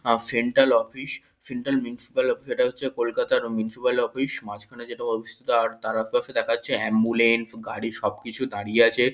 আহ central office central municipal office. এটা হচ্ছে কলকাতার মিউনিসিপাল অফিস মাঝখানে যেটা অবস্থিত। আর তার আশেপাশে দেখা যাচ্ছে অ্যাম্বুলেন্স গাড়ি সবকিছু দাঁড়িয়ে আছে।